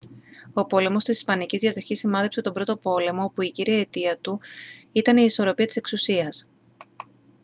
ο πόλεμος της ισπανικής διαδοχής σημάδεψε τον πρώτο πόλεμο όπου η κύρια αιτία του ήταν η ισορροπία της εξουσίας